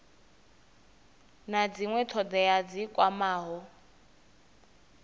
na dzinwe thodea dzi kwamaho